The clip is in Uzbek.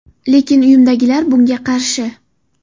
Lekin uyimdagilar bunga qarshi.